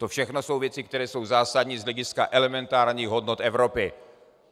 To všechno jsou věci, které jsou zásadní z hlediska elementárních hodnot Evropy.